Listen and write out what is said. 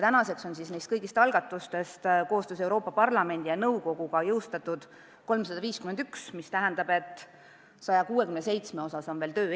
Praeguseks on kõigist algatustest koostöös Euroopa Parlamendi ja nõukoguga jõustatud 351, mis tähendab, et 167 on veel töös.